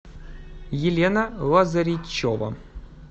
елена лазаричева